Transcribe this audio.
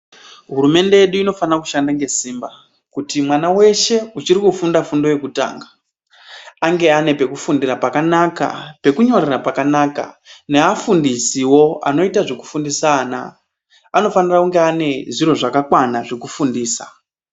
Hurumende yedu inofanira kushanda ngesimba kuti mwan weshe uchiri kufunda fundo yekutanga anga ane pekufundira pakanaka, pekunyorera pakanaka neafundisiwo anoita zvokufundisa ana anofanira kunga ane zviro zvakakwana zvekufundisa.